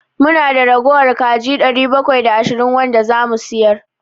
Mu na da ragowar kaji ɗari bakwai da ashirin wanda za mu sayar.